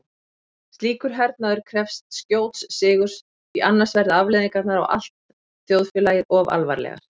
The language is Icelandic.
Slíkur hernaður krefst skjóts sigurs því annars verða afleiðingarnar á allt þjóðfélagið of alvarlegar.